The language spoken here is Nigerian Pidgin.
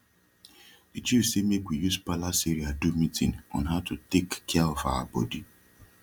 d chief say mak we use palace area do meeting on how to tak cia of our body